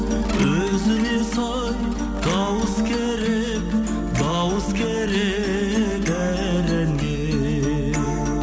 өзіне сай дауыс керек дауыс керек әр әнге